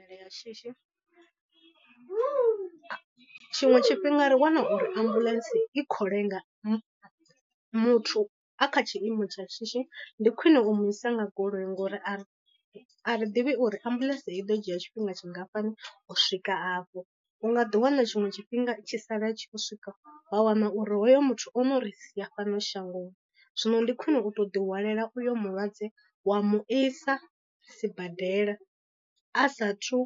Nyimele ya shishi, tshiṅwe tshifhinga ri wana uri ambuḽentse i khou lenga muthu a kha tshiimo tsha shishi ndi khwine u mu isa nga goloi ngori a re a ri ḓivhi uri ambuḽentse i ḓo dzhia tshifhinga tshingafhani u swika afho. U nga ḓi wana tshiṅwe tshifhinga i tshi sala i tshi u swika wa wana uri hoyo muthu ono ri sia fhano shangoni, zwino ndi khwine u to ḓi hwalela uyo mulwadze wa mu isa sibadela a sathu